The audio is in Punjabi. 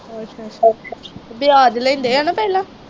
ਵਿਆਜ ਲੈਂਦੇ ਆ ਨਾ ਪਹਿਲਾਂ।